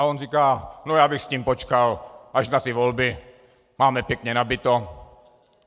A on říká: No, já bych s tím počkal až na ty volby, máme pěkně nabito...